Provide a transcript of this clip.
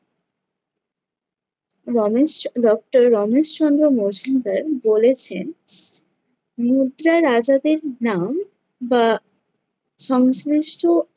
Ramesh, doctor Ramesh Chandra Majumdar বলেছেন, মুদ্রা রাজাদের নাম বা সংশ্লিষ্ট